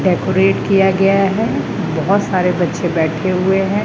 Decorate किया गया है बहोत सारे बच्चे बैठे हुए हैं।